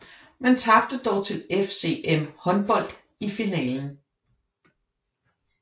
Man tabte dog til FCM Håndbold i finalen